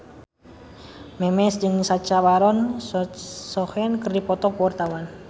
Memes jeung Sacha Baron Cohen keur dipoto ku wartawan